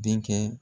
Denkɛ